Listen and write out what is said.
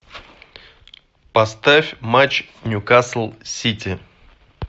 поставь матч ньюкасл сити